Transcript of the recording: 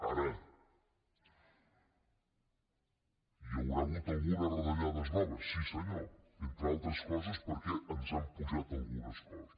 ara hi haurà hagut algunes retallades noves sí senyor entre altres coses perquè ens han apujat algunes coses